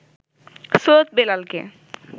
সৈয়দ বেলালকে